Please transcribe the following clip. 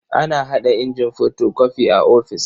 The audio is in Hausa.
Ana haɗa injin fotokofi a ofis.